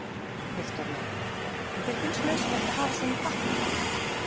Viktoría: En þér finnst nauðsynlegt að hafa svona í pappír?